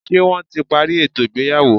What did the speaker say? Ṣé wọ́n ti parí ètò ìgbéyàwó?